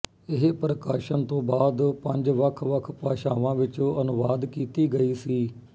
ਇਹ ਪ੍ਰਕਾਸ਼ਨ ਤੋਂ ਬਾਅਦ ਪੰਜ ਵੱਖ ਵੱਖ ਭਾਸ਼ਾਵਾਂ ਵਿੱਚ ਅਨੁਵਾਦ ਕੀਤੀ ਗਈ ਸੀ